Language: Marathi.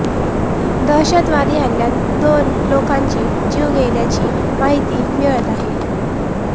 दहशतवादी हल्यात दोन लोकांची जीव गेल्याची माहिती मिळत आहे